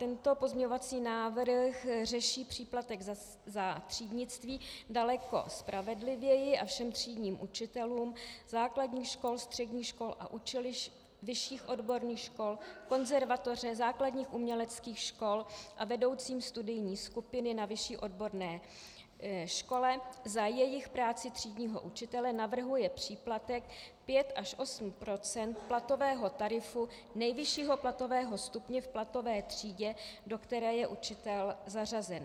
Tento pozměňovací návrh řeší příplatek za třídnictví daleko spravedlivěji a všem třídním učitelům základních škol, středních škol a učilišť, vyšších odborných škol, konzervatoře, základních uměleckých škol a vedoucím studijní skupiny na vyšší odborné škole za jejich práci třídního učitele navrhuje příplatek 5 až 8 % platového tarifu nejvyššího platového stupně v platové třídě, do které je učitel zařazen.